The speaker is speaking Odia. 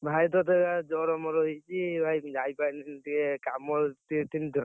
ଭାଇ ତତେ ଜର ମର ହେଇଛି ଭାଇ ଯାଇପାରିଲିନି ଟିକେ କାମ, ଟିକେ ଥିଲି ତ।